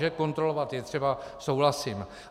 Že kontrolovat je třeba, souhlasím.